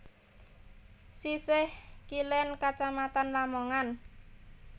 Sisih kilen Kacamatan Lamongan